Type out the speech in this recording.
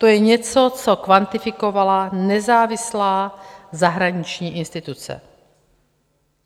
To je něco, co kvantifikovala nezávislá zahraniční instituce.